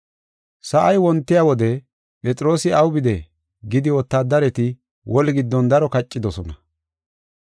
Sa7ay wontiya wode, “Phexroosi aw bide” gidi wotaadareti woli giddon daro kaccidosona.